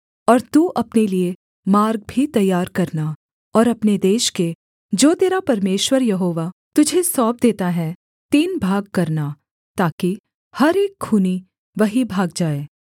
और तू अपने लिये मार्ग भी तैयार करना और अपने देश के जो तेरा परमेश्वर यहोवा तुझे सौंप देता है तीन भाग करना ताकि हर एक खूनी वहीं भाग जाए